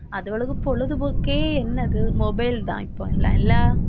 அதுகளுக்கு பொழுதுபோக்கே என்னது mobile தான் இப்போ எல்லாம் இல்லை